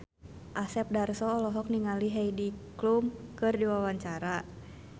Asep Darso olohok ningali Heidi Klum keur diwawancara